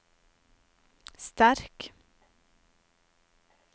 sterk